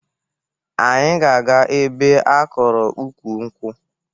Anyị ga-aga ebe a kọrọ ukwu nkwụ